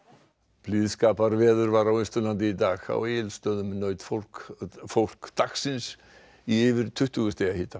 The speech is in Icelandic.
blíðskaparveður var á Austurlandi í dag á Egilsstöðum naut fólk fólk dagsins í yfir tuttugu stiga hita